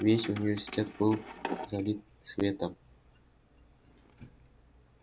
весь университет был залит светом